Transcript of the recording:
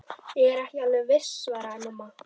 Ég er ekki alveg viss svaraði mamma.